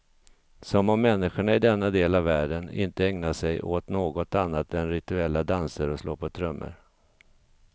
Som om människorna i denna del av världen inte ägnar sig åt något annat än rituella danser och slå på trummor.